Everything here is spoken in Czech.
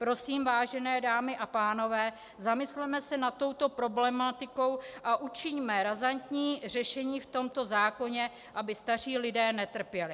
Prosím, vážené dámy a pánové, zamysleme se nad touto problematikou a učiňme razantní řešení v tomto zákoně, aby staří lidé netrpěli.